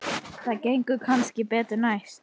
Það gengur kannski betur næst.